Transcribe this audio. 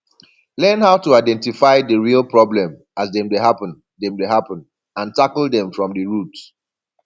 learn how to identify di real problem as dem dey happen dem dey happen and tackle dem from di root